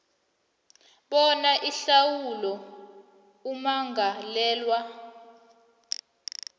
bona ihlawulo ummangalelwa